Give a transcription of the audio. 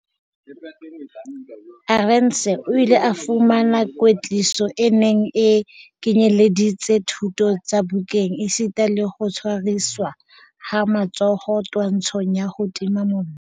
Arendse o ile a fumana kwetliso e neng e kenyeleditse dithuto tsa bukeng esita le ho tshwariswa ha matsoho twantshong ya ho tima mollo.